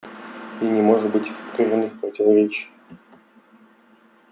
и не может быть коренных противоречий